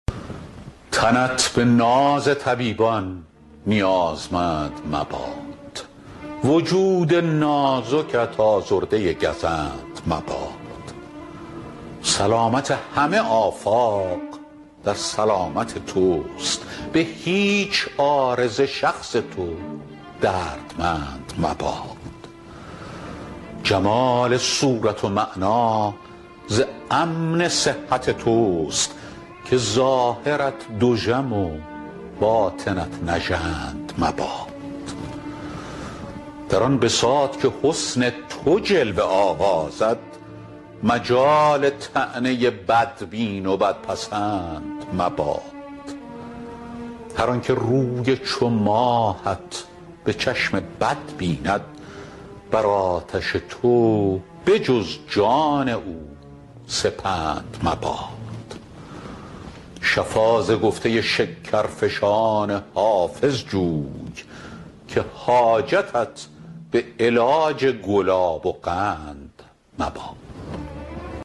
تنت به ناز طبیبان نیازمند مباد وجود نازکت آزرده گزند مباد سلامت همه آفاق در سلامت توست به هیچ عارضه شخص تو دردمند مباد جمال صورت و معنی ز امن صحت توست که ظاهرت دژم و باطنت نژند مباد در این چمن چو درآید خزان به یغمایی رهش به سرو سهی قامت بلند مباد در آن بساط که حسن تو جلوه آغازد مجال طعنه بدبین و بدپسند مباد هر آن که روی چو ماهت به چشم بد بیند بر آتش تو به جز جان او سپند مباد شفا ز گفته شکرفشان حافظ جوی که حاجتت به علاج گلاب و قند مباد